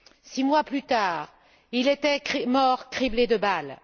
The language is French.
Six mois plus tard, il était mort, criblé de balles.